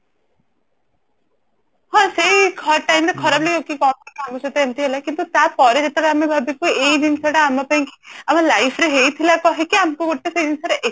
ହଁ ସେଇ ଖରାପ time ରେ ଖରାପ କି ଆମ ସହିତ ଏମିତି ହେଲା କିନ୍ତୁ ତାପରେ ଯେତେବେଳେ ଆମେ ଭାବିବୁ ଏଇ ଜିନିଷ ଟା ଆମ ପାଇଁ ଆମ life ରେ ହେଇଥିଲା କହିକି ଆମକୁ ଗୋଟେ ସେଇ ଜିନିଷରେ